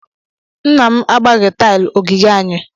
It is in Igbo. Nna m agbaghị tile ogige anyị.